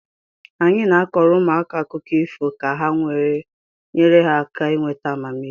Anyị na-akọọrọ ụmụaka akụkọ ifo ka ha nyere ha aka ịnweta amamihe